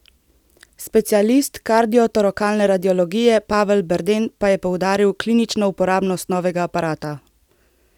Specialist kardiotorakalne radiologije Pavel Berden pa je poudaril klinično uporabnost novega aparata.